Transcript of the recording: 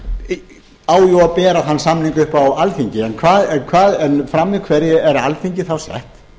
síðan á jú að bera þann samning upp á alþingi en frammi fyrir hverju er alþingi þá sett